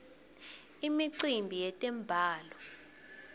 imicimbi yetemblalo